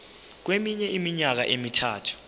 kweminye iminyaka emithathu